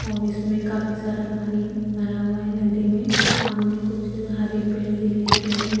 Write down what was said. और इसमें काफी सारा पानी भरा हुआ है नदी में सामने कुछ हरे पेड़ दिखाई दे रहे हैं।